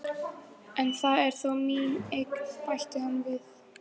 En það er þó mín eign, bætti hann við.